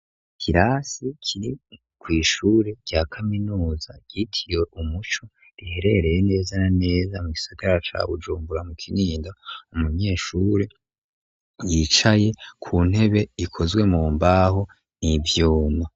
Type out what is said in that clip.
Ikirasi kiri kw'shuri rya kaminuza yitiye umuco riherereye neza na neza mu gisagara ca bujumbura mu kinindo, umunyeshure yicaye ku ntebe ikozwe mu mbaho n'ivyuma.